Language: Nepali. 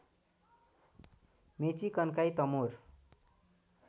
मेची कन्काई तमोर